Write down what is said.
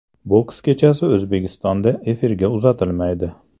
Boks kechasi O‘zbekistonda efirga uzatilmaydi.